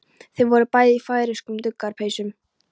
Þau voru bæði í færeyskum duggarapeysum.